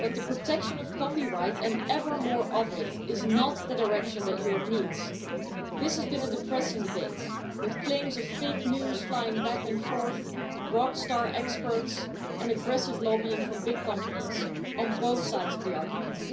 But the protection of copyright, and ever more of it, is not the direction that Europe needs. This has been a depressing debate with claims of fake news flying back and forth, rock star experts and aggressive lobbying from big companies, on both sides of the argument.